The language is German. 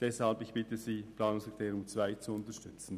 Deshalb bitte ich Sie, die Planungserklärung 2 zu unterstützen.